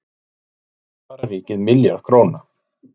Þannig sparar ríkið milljarð króna.